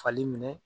Fali minɛ